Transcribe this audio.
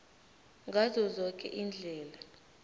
ngazo zoke iindlela